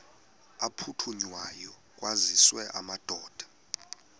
aphuthunywayo kwaziswe amadoda